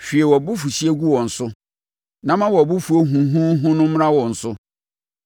Hwie wʼabufuhyeɛ gu wɔn so; na ma wʼabofuo huuhuuhu no mmra wɔn so.